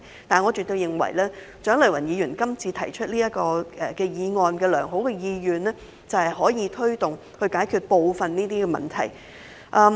但是，我絕對認為蔣麗芸議員這項議案背後有良好的意願，就是推動解決當中部分問題。